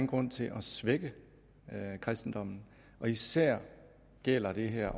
grund til at svække kristendommen og især gælder det her